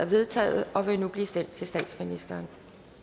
vedtaget og vil nu blive sendt til statsministeren